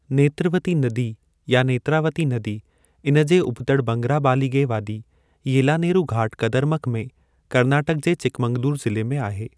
नेत्रवती नदी या नेत्रावती नदी इन जे उबतड़ि बंगराबालिगे वादी येलानेरु घाट कदरमख़ में करनाटक जे चिकमंगलूर ज़िले में आहे।